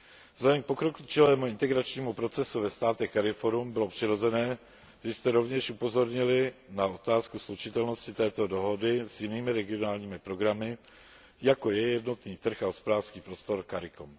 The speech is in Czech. Vzhledem k pokročilému integračnímu procesu ve státech CARIFORUM bylo přirozené, že jste rovněž upozornili na otázku slučitelnosti této dohody s jinými regionálními programy, jako je jednotný trh a hospodářský prostor CARICOM.